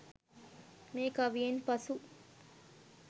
මේ කවියෙන් පසු